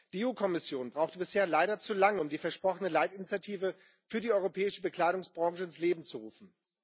Die EU Kommission brauchte bisher leider zu lange, um die versprochene Leitinitiative für die europäische Bekleidungsbranche ins Leben zu rufen.